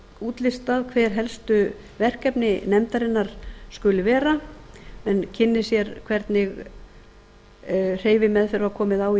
útlistað hver helstu verkefni nefndarinnar skuli vera menn kynni sér hvernig hreyfimeðferð var komið á í